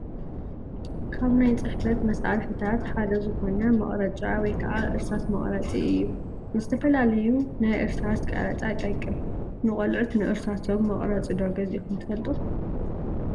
ካብ ናይ ፅሕፈት መሳርሕታት ሓደ ዝኾነ መቕረጫ ወይ ከዓ እርሳስ መቕረፂ እዩ፡፡ ንዝተፈላለዩ ናይ እርሳስ ቀረፃ ይጠቅም፡፡ ንቆልዑት ንእርሳሶም መቕረፂ ዶ ገዚእኹም ትፈልጡ?